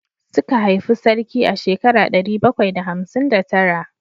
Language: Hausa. Suka haifi sarki a shekara ɗari bakwai da hamsin da tara